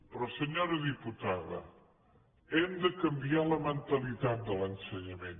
però senyora diputada hem de canviar la mentalitat de l’ensenyament